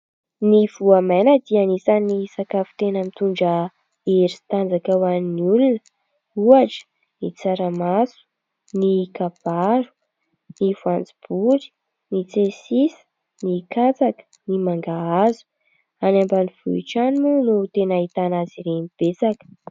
Ny voamaina dia anisany sakafo tena mitondra hery sy tanjaka ho an'ny olona ohatra : ny tsaramaso, ny kabaro, ny voanjobory, ny tsiasisa, ny katsaka, ny mangahazo. Any ambanivohitra any moa ireo tena ahitana azy ireny betsaka.